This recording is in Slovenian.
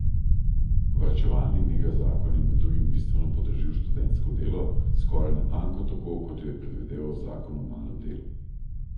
Varčevalni megazakon je med drugim bistveno podražil študentsko delo, skoraj natanko tako, kot jo je predvideval zakon o malem delu.